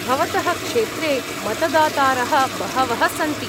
भवतः क्षेत्रे मतदातारः बहवः सन्ति।